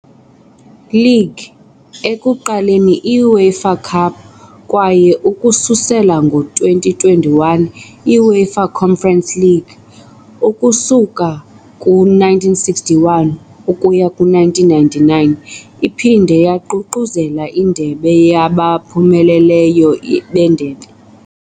League, ekuqaleni i-UEFA Cup, kwaye ukususela ngo-2021 i- UEFA Conference League ukusuka ku-1961 ukuya ku-1999, iphinde yaququzelela iNdebe yabaphumeleleyo beNdebe .